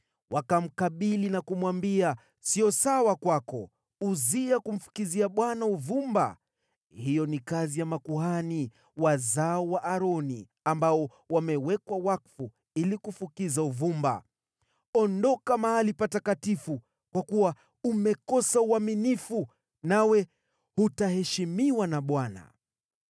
Wakamkabili na kumwambia, “Siyo sawa kwako, Uzia, kumfukizia Bwana uvumba. Hiyo ni kazi ya makuhani, wazao wa Aroni, ambao wamewekwa wakfu ili kufukiza uvumba. Ondoka mahali patakatifu, kwa kuwa umekosa uaminifu nawe hutaheshimiwa na Bwana .”